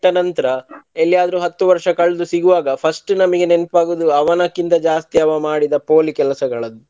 ನಂತ್ರ ಎಲ್ಲೆ ಆದ್ರು ಹತ್ತು ವರ್ಷ ಕಳೆದು ಸಿಗುವಾಗ first ನಮ್ಗೆ ನೆನ್ಪ ಆಗುವುದು ಅವನಕ್ಕಿಂತ ಜಾಸ್ತಿ ಅವ ಮಾಡಿದ ಪೋಲಿ ಕೆಲಸಗಳದ್ದು.